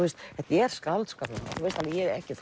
er skáldskapur ég er ekki